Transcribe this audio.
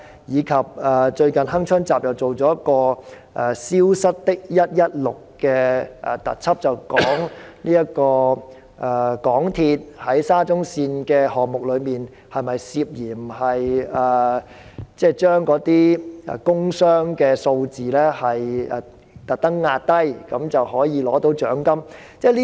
此外，"鏗鏘集"最近播放了"消失的 116" 特輯，探討香港鐵路有限公司在沙中綫項目中，是否涉嫌故意將工傷數字壓低，以博取獎金。